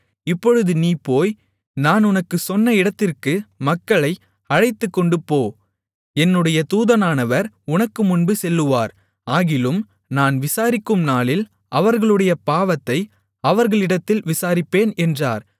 இப்பொழுது நீ போய் நான் உனக்குச் சொன்ன இடத்திற்கு மக்களை அழைத்துக்கொண்டுபோ என்னுடைய தூதனானவர் உனக்குமுன்பு செல்லுவார் ஆகிலும் நான் விசாரிக்கும் நாளில் அவர்களுடைய பாவத்தை அவர்களிடத்தில் விசாரிப்பேன் என்றார்